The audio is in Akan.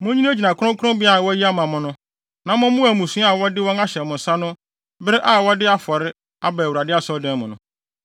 “Munnyinagyina kronkronbea a wɔayi ama mo no, na mommoa mmusua a wɔde wɔn ahyɛ mo nsa no bere a wɔde wɔn afɔre aba Asɔredan mu no.